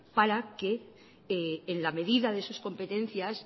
para que en la medida de sus competencias